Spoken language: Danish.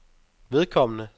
vedkommende